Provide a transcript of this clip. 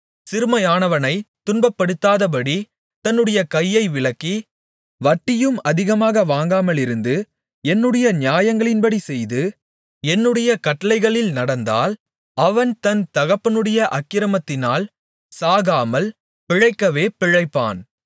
சிறுமையானவனை துன்பப்படுத்தாதபடித் தன்னுடைய கையை விலக்கி வட்டியும் அதிகமாக வாங்காமலிருந்து என்னுடைய நியாயங்களின்படி செய்து என்னுடைய கட்டளைகளில் நடந்தால் அவன் தன் தகப்பனுடைய அக்கிரமத்தினால் சாகாமல் பிழைக்கவே பிழைப்பான்